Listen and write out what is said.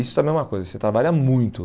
Isso também é uma coisa, você trabalha muito.